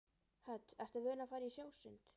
Hödd: Ertu vön að fara í sjósund?